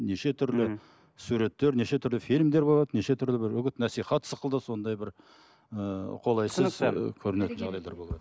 неше түрлі суреттер неше түрлі фильмдер болады неше түрлі бір үгіт насихат сықылды ондай бір ыыы қолайсыз көрінетін жағдайлар болады